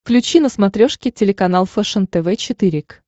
включи на смотрешке телеканал фэшен тв четыре к